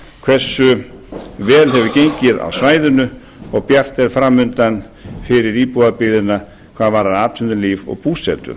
vel hefur gengið á svæðinu og bjart er framundan fyrir íbúðarbyggðina hvað varðar atvinnulíf og búsetu